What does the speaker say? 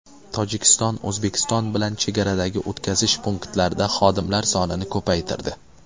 Tojikiston O‘zbekiston bilan chegaradagi o‘tkazish punktlarida xodimlar sonini ko‘paytirdi.